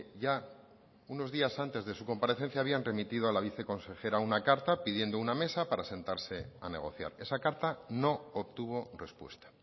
ya unos días antes de su comparecencia habían remitido a la viceconsejera una carta pidiendo una mesa para sentarse a negociar esa carta no obtuvo respuesta